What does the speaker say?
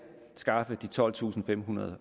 skaffe de tolvtusinde og femhundrede